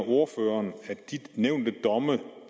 ordføreren at de nævnte domme